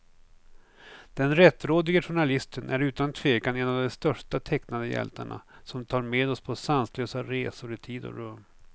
Den rättrådige journalisten är utan tvekan en av de största tecknade hjältarna, som tar med oss på sanslösa resor i tid och rum.